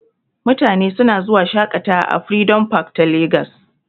Mutane suna zuwa shaƙatawa a freedom park ta Lagos.